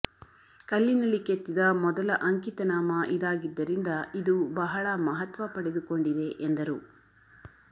ಕಲ್ಲಿನಲ್ಲಿ ಕೆತ್ತಿದ ಮೊದಲ ಅಂಕಿತನಾಮ ಇದಾಗಿದ್ದರಿಂದ ಇದು ಬಹಳ ಮಹತ್ವ ಪಡೆದುಕೊಂಡಿದೆ ಎಂದರು